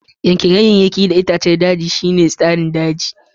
Yanke ganyayyaki da itatuwar daji shine tsarin share daji.